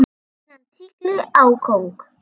Síðan tígli á kóng.